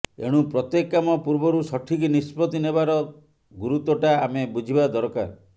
ଏଣୁ ପ୍ରତ୍ୟେକ କାମ ପୂର୍ବରୁ ସଠିକ୍ ନିଷ୍ପତ୍ତି ନେବାର ଗୁରୁତ୍ୱଟା ଆମେ ବୁଝିବା ଦରକାର